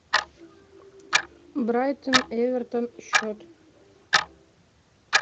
брайтон эвертон счет